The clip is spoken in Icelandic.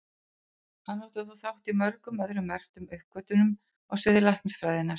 Hann átti þó þátt í mörgum öðrum merkum uppgötvunum á sviði læknisfræðinnar.